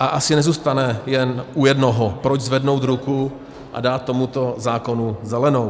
a asi nezůstane jen u jednoho, proč zvednout ruku a dát tomuto zákonu zelenou.